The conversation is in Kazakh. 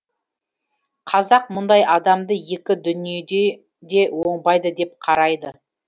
қазақ мұндай адамды екі дүниеде де оңбайды деп қарайды